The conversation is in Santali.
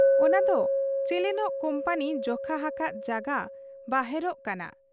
ᱚᱱᱟᱫᱚ ᱪᱮᱞᱮᱱᱚᱜ ᱠᱩᱢᱯᱟᱱᱤ ᱡᱚᱠᱷᱟ ᱦᱟᱠᱟᱫ ᱡᱟᱜᱟ ᱵᱟᱦᱮᱨᱚᱜ ᱠᱟᱱᱟ ᱾